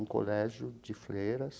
Um colégio de freiras.